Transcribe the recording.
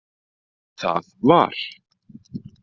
Það var